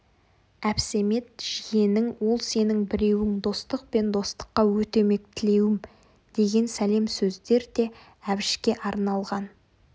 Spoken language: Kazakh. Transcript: әбсәмет жиенің ол сенің біреуің достық пен достыққа өтемек тілеуім деген сәлем сездер де әбішке арналған